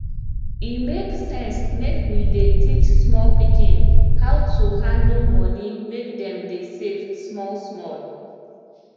e make sense make we dey teach small pikin how to handle money make dem dey save small small